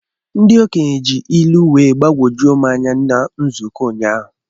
Ndị okenye ji ilu wee gbagwojuo m anya na nzukọ ụnyaahụ.